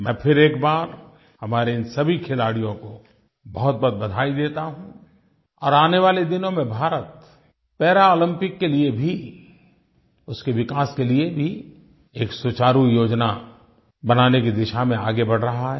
मैं फिर एक बार हमारे इन सभी खिलाड़ियों को बहुतबहुत बधाई देता हूँ और आने वाले दिनों में भारत पैरालम्पिक्स के लिये भी उसके विकास के लिये भी एक सुचारु योजना बनाने की दिशा में आगे बढ़ रहा है